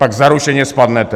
Pak zaručeně spadnete.